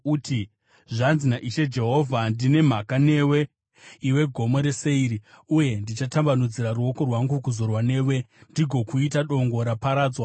uti, ‘Zvanzi naIshe Jehovha: Ndine mhaka newe iwe Gomo reSeiri, uye ndichatambanudzira ruoko rwangu kuzorwa newe ndigokuita dongo raparadzwa.